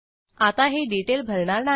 आता हे डिटेल भरणार नाही